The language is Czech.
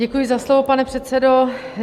Děkuji za slovo, pane předsedo.